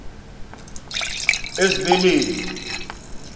ezibeleni